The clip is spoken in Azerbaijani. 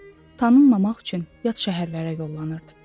Tanınmamaq üçün yad şəhərlərə yollanırdı.